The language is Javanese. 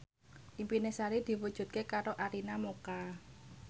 impine Sari diwujudke karo Arina Mocca